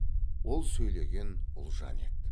ол сөйлеген ұлжан еді